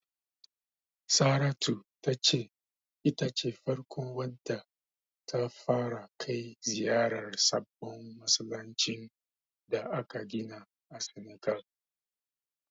Saratu ta ce ita ce farkon wadda ta fara kai ziyarar sabon masallacin da aka gina a Senegal.